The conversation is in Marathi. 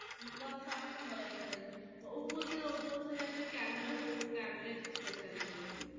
मोबाईल सांग ना मला एखादातरी oppo चा oppo च काय तरी camera camera ची speciality ये ना